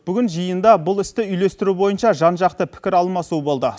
бүгін жиында бұл істі үйлестіру бойынша жан жақты пікіралмасу болды